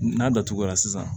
N'a datugura sisan